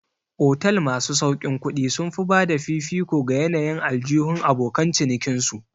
Otal masu sauƙin kuɗi sun fi bada fifiko ga yanayin aljihun abokan cinikin su